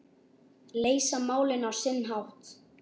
Leysa málin á sinn hátt.